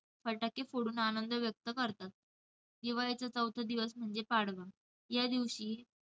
फटाके फोडून आनंद व्यक्त करतात. दिवाळीचा चौथा दिवस म्हणजे पाडवा. या दिवशी